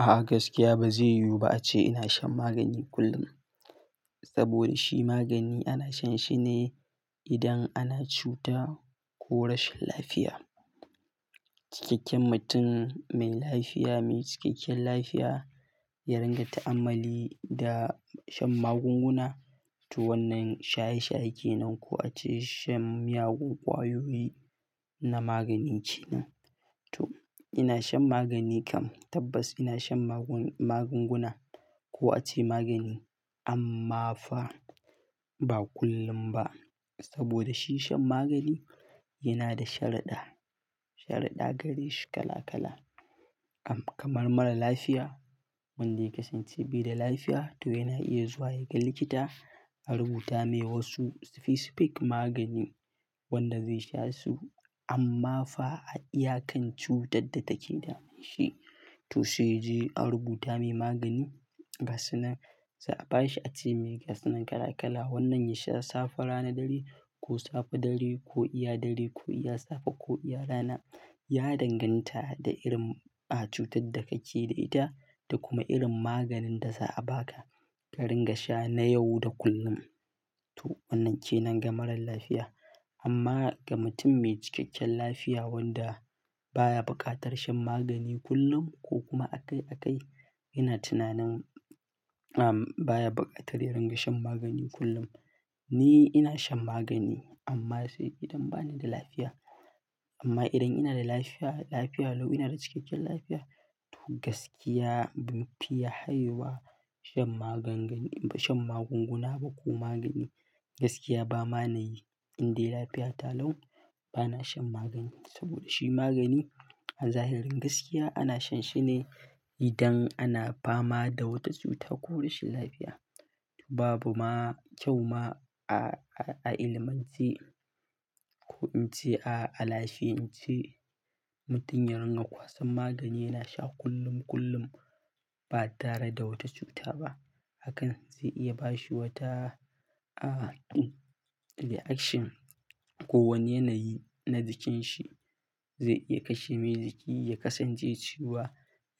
A'a gaskiya ba zai yiwu ba ace ina shan magani kullum. Saboda shi magani ana shan shi ne idan ana cuta ko rashin lafiya. Cikakken mutum mai lafiya, mai cikakken lafiya ya ringa ta'ammali da shan magunguna. To wannan shaye shaye kenan ko ace shan miyagun ƙwayoyi na magani ke nan. To ina shan magani kam tabbas ina shan magun-magunguna ko ace magani amma fa ba kullum ba. Saboda shi shan magani yana da shariɗa, shariɗa gareshi kala kala. A'a gaskiya ba zai yiwu ba ace ina shan magani kullum. Saboda shi magani ana shan shi ne idan ana cuta ko rashin lafiya. To sai yaje a rubuta mai magani ga sanunan, za'a bashi ace me gasunan kala kala wannan ya sha safe rana ɗari ko safe ɗari ko iya ɗari ko iya safe ko iya rana. Ya danganta da irin a cutar da kake da ita da kuma irin maganin da za'a baka ka ringa sha na yau da kullum. To wannan kenan ga marar lafiya amma ga mutum mai cikakken lafiya wanda baya buƙatar shan magani kullum ko kuma a kai a kai yana tunanin am baya buƙatar ya ringa shan magani kullum. Ni ina shan magani amma sai idan bani da lafiya. Amma idan ina da lafiya, lafiya lau ina da cikakken lafiya to gaskiya ban fiya haiyewa shan magan-gani shan magunguna ba ko magani. Gaskiya ba manayi in dai lafiya ta lau bana shan magani saboda shi magani a zahirin gaskiya ana shan shi ne idan ana fama da wata cuta ko rashin lafiya. Babu ma kyau ma a-a ilimance ko in ce a-a lafiyance mutum ya ringa kwasan magani yana sha kullum kullum ba tare da wata cuta ba. Hakan zai iya bashi wata a tu reaction ko wani yanayi na jikinsa. Zai iya kashe mai jiki, ya kasance cewa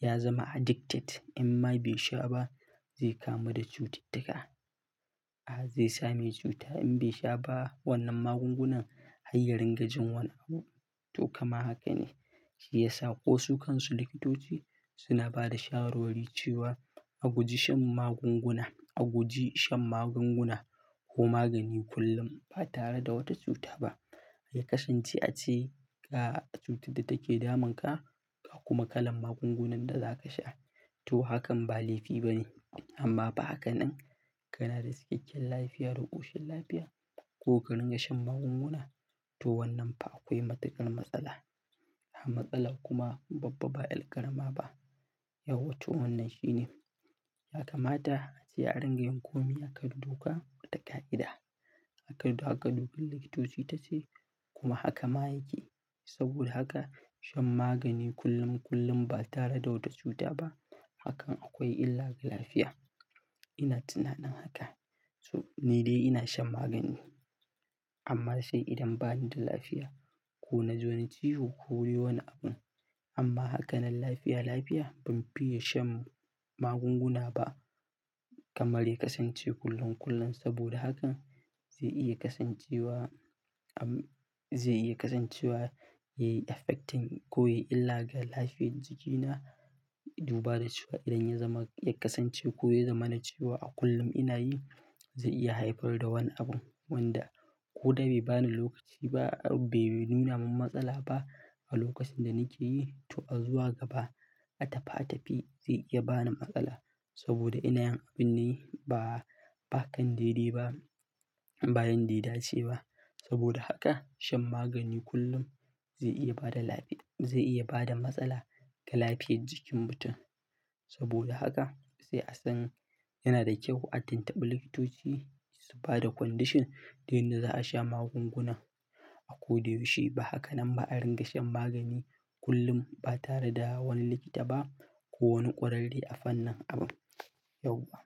ya zama addicted in ma bai sha ba zai kamu da cututtuka. A zai samai cuta in bai sha ba wannan magungunan hayyarin ga jin wani abu. To kama haka ne shi yasa ko su kansu likitoci suna bada shawarwari cewa a guji shan magunguna, a guji shan magunguna ko magani kullum ba tare da wata cuta ba. Ya kasance a ce ga cutar da take damunka ka kuma kalan magungunan da za ka sha. To hakan ba laifi ba ne amma fa hakanan kana da cikakken lafiya, da koshin lafiya ko ka ringa shan magunguna to wannan fa akwai matuƙar matsala. Matsalar kuma babba ba ƴar ƙarama ba. Yawa to wannan shine. Ya kamata a ce a ringa yin komai a kan doka da ƙa'ida. A kadu haka duk likitoci ta ce kuma haka ma yake. Saboda haka shan magani kullum kullum ba tare da wata cuta ba hakan akwai illa ga lafiya. Ina tunanin haka. To ni dai ina shan magani amma sai idan bani da lafiya ko naji wani ciwo ko dai wani abu. Amma hakanan lafiya lafiya ban fiye shan magunguna ba kamar ya kasance kullum kullum saboda hakan zai iya kasancewa am zai iya kasancewa yayi affecting ko yayi illa ga lafiyar jikina. Duba da cewa idan ya zama ya kasance ko ya zama na cewa a kullum ina yi zai iya haifar da wani abun wanda ko dai bai bani lokaci ba bai nuna min matsala ba a lokacin da nake yi to a zuwa gaba a tafi a tafi zai iya bani matsala saboda ina yin abin ne ba bakan daidai ba bayan da ya dace ba. Saboda haka shan magani kullum zai iya bada lafiya, zai iya bada matsala ga lafiyar jikin mutum. Saboda haka sai a san yana da kyau a tinttiɓi likitoci su bada condition da yanda za a sha magunguna. A ko da yaushe ba haka nan ba a ringa shan magani kullum ba tare da wani likita ba ko wani ƙwararre a fannin abun yauwa.